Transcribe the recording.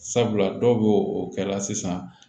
Sabula dɔw bɛ o kɛ la sisan